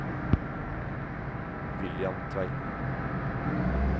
William Tveiten